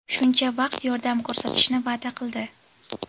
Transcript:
shuncha vaqt yordam ko‘rsatishni va’da qildi.